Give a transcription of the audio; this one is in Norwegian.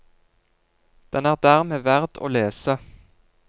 Den er dermed verd å lese.